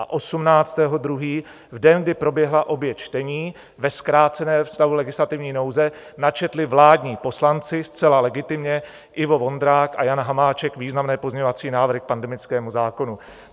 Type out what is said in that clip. A 18. 2., v den, kdy proběhla obě čtení, ve zkráceném stavu legislativní nouze načetli vládní poslanci zcela legitimně, Ivo Vondrák a Jan Hamáček, významné pozměňovací návrhy k pandemickému zákonu.